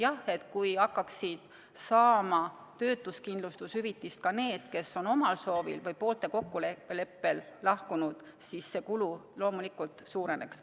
Jah, kui töötuskindlustushüvitist hakkaksid saama ka need, kes on omal soovil või poolte kokkuleppel lahkunud, siis see kulu loomulikult suureneks.